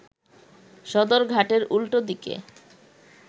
সদরঘাটের উল্টো দিকে